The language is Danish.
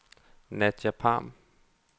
Nadja Pham